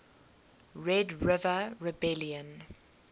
red river rebellion